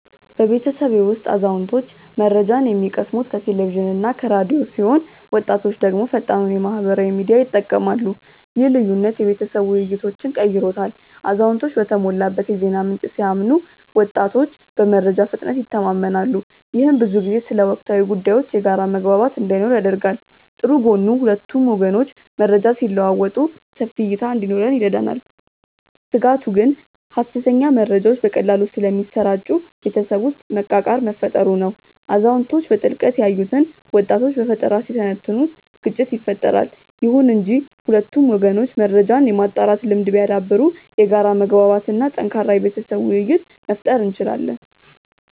በቤተሰቤ ውስጥ አዛውንቶች መረጃን የሚቀስሙት ከቴሌቪዥንና ከራዲዮ ሲሆን ወጣቶች ደግሞ ፈጣኑን የማህበራዊ ሚዲያ ይጠቀማሉ። ይህ ልዩነት የቤተሰብ ውይይቶችን ቀይሮታል አዛውንቶች በተሞላበት የዜና ምንጭ ሲያምኑ ወጣቶች በመረጃ ፍጥነት ይተማመናሉ። ይህም ብዙ ጊዜ ስለ ወቅታዊ ጉዳዮች የጋራ መግባባት እንዳይኖር ያደርጋል። ጥሩ ጎኑ ሁለቱም ወገኖች መረጃ ሲለዋወጡ ሰፊ እይታ እንዲኖረን ይረዳናል። ስጋቱ ግን ሐሰተኛ መረጃዎች በቀላሉ ስለሚሰራጩ ቤተሰብ ውስጥ መቃቃር መፈጠሩ ነው። አዛውንቶች በጥልቀት ያዩትን ወጣቶች በፈጠራ ሲተነትኑት ግጭት ይፈጠራል። ይሁን እንጂ ሁለቱም ወገኖች መረጃን የማጣራት ልምድ ቢያዳብሩ የጋራ መግባባት እና ጠንካራ የቤተሰብ ውይይት መፍጠር እንችላለን።